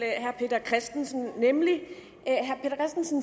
herre peter christensen